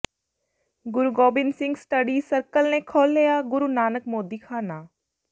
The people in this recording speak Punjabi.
ਗੁਰੂ ਗੋਬਿੰਦ ਸਿੰਘ ਸਟੱਡੀ ਸਰਕਲ ਨੇ ਖੋਲਿ੍ਹਆ ਗੁਰੂ ਨਾਨਕ ਮੋਦੀਖਾਨਾ